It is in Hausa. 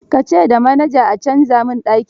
Ka ce da manaja a canza min daki.